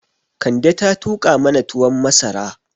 Kande ta tuƙa mana tuwon masara